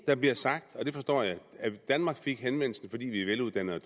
der blev sagt og det forstår jeg at danmark fik henvendelsen fordi vi er veluddannede og